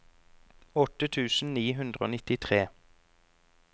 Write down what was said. åtte tusen ni hundre og nittitre